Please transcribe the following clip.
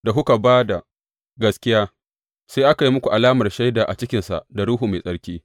Da kuka ba da gaskiya, sai aka yi muku alamar shaida a cikinsa da Ruhu Mai Tsarki.